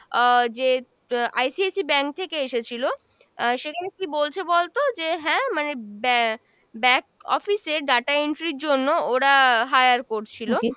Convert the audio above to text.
আহ যে আহ ICIC bank থেকে এসেছিল, আহ সেখানে কী বলছে বলতো যে হ্যাঁ মানে ba~ back office এ data entry ইর জন্য ওরা hire করছিলো,